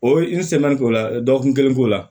O ye k'o la dɔgɔkun kelen k'o la